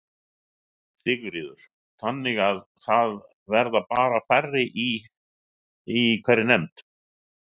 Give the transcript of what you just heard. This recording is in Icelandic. Sigríður: Þannig að það verða bara færri í, í hverri nefnd?